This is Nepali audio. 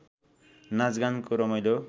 नाचगानको रमाइलो